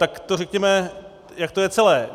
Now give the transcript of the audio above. Tak to řekněme, jak to je celé.